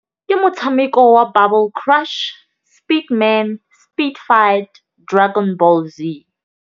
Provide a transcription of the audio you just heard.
Ke motšhameko wa Bubble Crush, Speed Man Speed Fund, Dragon Ball Z.